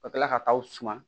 Ka tila ka taa aw suman